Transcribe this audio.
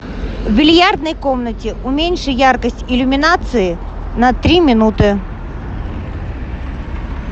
в бильярдной комнате уменьши яркость иллюминации на три минуты